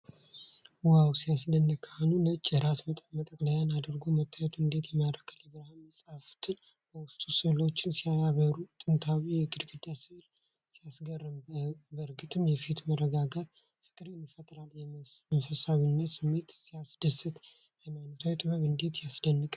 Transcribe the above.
ዋው ሲያስደንቅ! ካህኑ ነጭ የራስ መጠቅለያ አድርጎ መታየቱ እንዴት ይማርካል! የብራና መጽሐፉን በውስጡ ሥዕሎች ሲያበሩ! ጥንታዊው የግድግዳ ሥዕል ሲያስገርም! በእርግጥ የፊቱ መረጋጋት ፍቅርን ይፈጥራል! የመንፈሳዊነት ስሜት ሲያስደስት! ሃይማኖታዊ ጥበብ እንዴት ይደነቃል